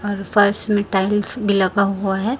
और फर्श में टाइल्स भी लगा हुआ है।